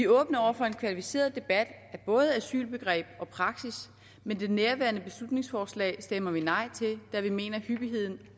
åbne over for en kvalificeret debat af både asylbegreb og praksis men nærværende beslutningsforslag stemmer vi nej til da vi mener at hyppigheden